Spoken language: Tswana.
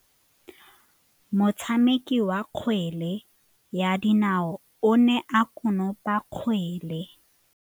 Motshameki wa kgwele ya dinaô o ne a konopa kgwele.